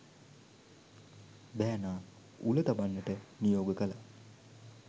බෑනා උල තබන්නට නියෝග කළා.